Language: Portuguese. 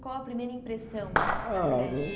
Qual a primeira impressão? Ah